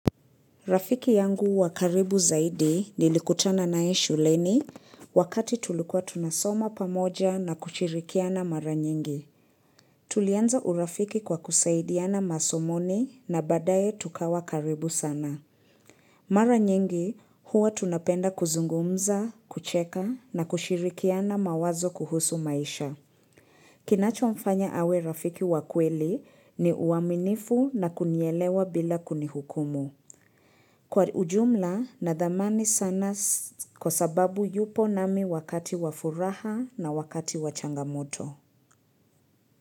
Rafiki yangu wakaribu zaidi nilikutana naye shuleni wakati tulikua tunasoma pamoja na kushirikiana mara nyingi. Tulianza urafiki kwa kusaidiana masomoni na badaye tukawa karibu sana. Mara nyingi huwa tunapenda kuzungumza, kucheka na kushirikiana mawazo kuhusu maisha. Kinachomfanya awe rafiki wa kweli ni uaminifu na kunielewa bila kunihukumu. Kwa ujumla na dhamani sana kwa sababu yupo nami wakati wa furaha na wakati wa changamoto.